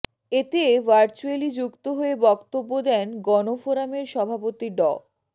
এতে ভার্চুয়ালি যুক্ত হয়ে বক্তব্য দেন গণফোরামের সভাপতি ড